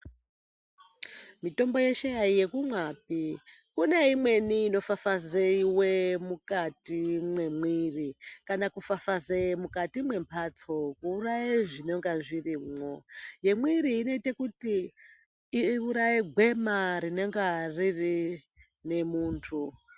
Mitombo yeshe aiyekumwapi, kune imweni inofafazeiwe mukati mwemwiri, kana kufafazeye mukati mwemphatso kuuraye zvinonga zvirimwo. Yemwiiri inoite kuti, iuraye gwema rinenga riine muntu.